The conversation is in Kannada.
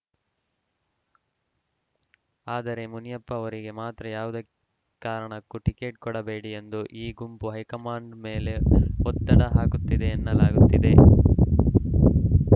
ಆದರೆ ಮುನಿಯಪ್ಪ ಅವರಿಗೆ ಮಾತ್ರ ಯಾವುದೇ ಕಾರಣಕ್ಕೂ ಟಿಕೆಟ್‌ ಕೊಡಬೇಡಿ ಎಂದು ಈ ಗುಂಪು ಹೈಕಮಾಂಡ್‌ ಮೇಲೆ ಒತ್ತಡ ಹಾಕುತ್ತಿದೆ ಎನ್ನಲಾಗುತ್ತಿದೆ